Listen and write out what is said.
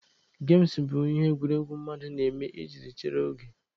Gem bụ ihe egwuregwu mmadụ na-eme iji chere oge.